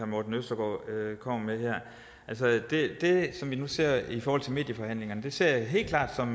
morten østergaard kommer med her det vi nu ser i forhold til medieforhandlingerne ser jeg helt klart som